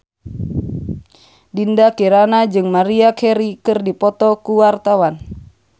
Dinda Kirana jeung Maria Carey keur dipoto ku wartawan